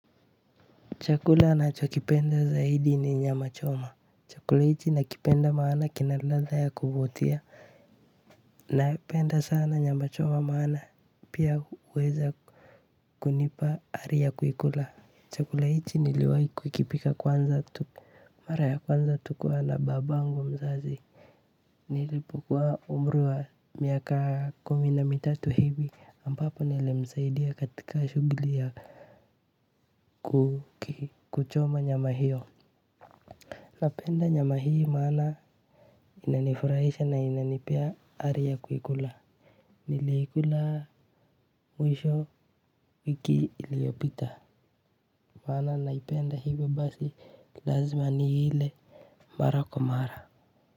Chakula ninachokipenda zaidi ni nyama choma. Chakula hiki nakipenda maana kina ladha ya kuvutia napenda sana nyama choma maana pia kuweza kunipa ari ya kula. Chakula hiki niliweza kukila mara ya kwanza nikiwa na babangu mzazi. Nilipokua umri wa miaka kumi na mitatu hivi ambapo nilmsaidia katika shughuli ya kuchoma nyama hiyo. Napenda nyama hii mana inanifurahisha na inanipea ari ya kuikula. Niliikula mwisho wiki iliyopita maana naipenda hivyo basi lazima niile mara kwa mara.